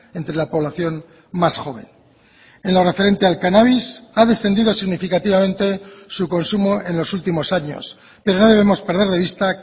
entre la población más joven en lo referente al cannabis ha descendido significativamente su consumo en los últimos años pero no debemos perder de vista